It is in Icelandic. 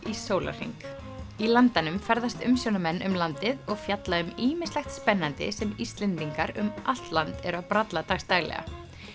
í sólarhring í Landanum ferðast umsjónarmenn um landið og fjalla um ýmislegt spennandi sem Íslendingar um allt land eru að bralla dags daglega